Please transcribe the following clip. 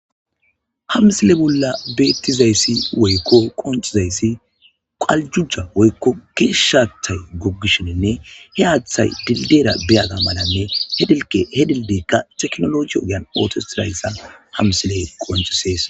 hamsile bolla beettizayssi woykko qoncizayssi qaljuja woykko geeshshatay goggishininne he aaththay dildeera beyaga malanne he dilke he dildeykka teknologi ogean aotosirayssa hamsile qoncisees